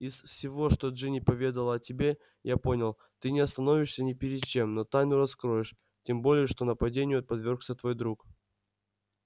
из всего что джинни поведала о тебе я понял ты не остановишься ни перед чем но тайну раскроешь тем более что нападению подвёргся твой друг